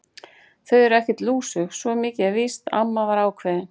Þau eru ekkert lúsug, svo mikið er víst amma var ákveðin.